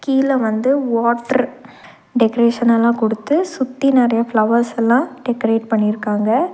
கீழ வந்து வாட்ர் டெக்கரேஷனெல்லா குடுத்து சுத்தி நெறைய ஃபிளவர்ஸெல்லா டெக்கரேட் பண்ணிருக்காங்க.